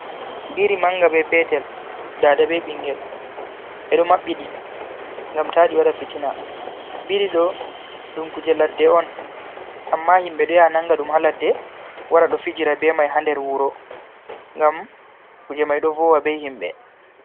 Biri manga be petel, dada be ɓingel ɓe ɗo maɓɓi ɗi ngam ta ɗi waɗa fitina, biri ɗo ɗum kuje ladde on amma himɓe ɗo ya nanga ɗum ha ladde wara ɗo fijira be mai ha nder wuro, ngam kuje mai ɗo vowa be himɓe.